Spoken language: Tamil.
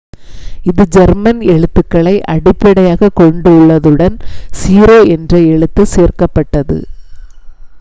"இது ஜெர்மன் எழுத்துக்களை அடிப்படையாகக் கொண்டுள்ளதுடன் "õ / õ" என்ற எழுத்து சேர்க்கப்பட்டது.